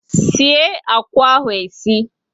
sie akwa ahụ e sie!